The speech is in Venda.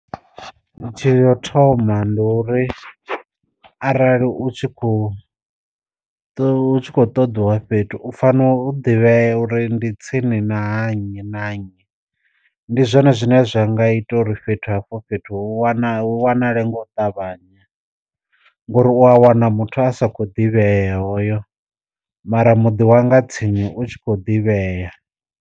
Tsheo yo thoma ndi uri, arali u tshi kho to kho ṱoḓiwa fhethu u fano u ḓivhea uri ndi tsini na ha nnyi na nnyi, ndi ndi zwone zwine zwa nga ita uri fhethu hafho fhethu wana u wanale nga u ṱavhanya ngori u a wana muthu a sa kho ḓivhea hoyo mara muḓi wanga tsini u tshi kho ḓivhea.